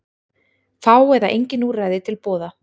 Fá eða engin úrræði til boða